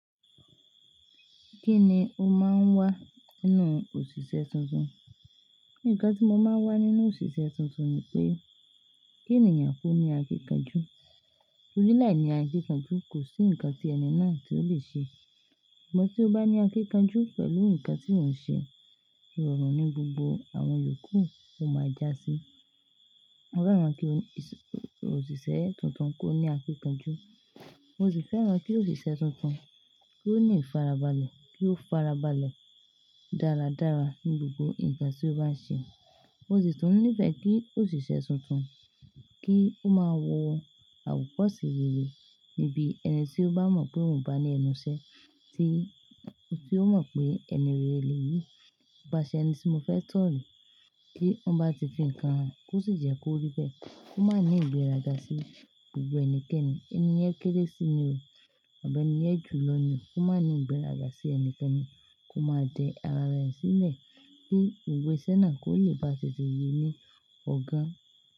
Kí ni o máa ń wá nínú òṣìṣẹ́ tuntun? Ǹkan tí mo máa ń wá nínú òṣìṣẹ́ tuntun ni pé, kí ènìyàn kó ní akíkanjú. Li láìní akíkanjú, kò sí nǹkan tí ẹni náà tí ó lè ṣe. Sugbọn tí ó bá ní akíkanjú pẹ̀lú nǹkan tí wọ́n ń ṣe, ìrọ̀rùn ní gbogbo àwọn yòókù ó máa já sí i. Mo fẹ́ràn kí o-- òṣìṣẹ́ tuntun kó ní akíkanjú, mo sì fẹ́ràn kí òṣìṣẹ́ tuntun kó ní ìfarabalẹ̀, kí ó farabalẹ̀ dáradára ní gbogbo ǹkan tí ó bá ń ṣe. Mo sì tún nífẹ̀ẹ́ kí òṣìṣẹ́ tuntun kí ó máa wọ àwokọ̀se rere níbi ẹni tí ó bá mọ̀ pé òun bá ní ẹnu ṣẹ, tí ó mọ̀ pé ẹni rere leyìí, ipáṣẹ ẹni tí mo fẹ́ ni kí wọ́n bá ti fi ǹkan hàn, kó sì jẹ́ kó rí pé kó má ní ìgbéraga sí gbogbo ẹnikẹ́ni. Ẹni yẹn kéré sí i ni o, àbí ẹni yẹn jù lọ ni o, kó má ní ìgbéraga sí ẹnikẹ́ni, kó má dẹ ara rẹ̀ sílẹ̀ kí òwe sẹ́na kó lè bá tètè yé ní ọ̀gá.